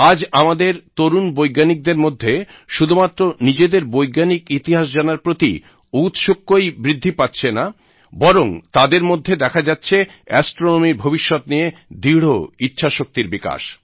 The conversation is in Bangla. আজ আমাদের তরুন বৈজ্ঞানিকদের মধ্যে শুধুমাত্র নিজেদের বৈজ্ঞানিক ইতিহাস জানার প্রতি ঔৎসুক্যই বৃদ্ধি পাচ্ছে না বরং তাদের মধ্যে দেখা যাচ্ছে অ্যাস্ট্রনমি র ভবিষ্যৎ নিয়ে দৃঢ় ইচ্ছাশক্তির বিকাশ